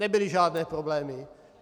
Nebyly žádné problémy.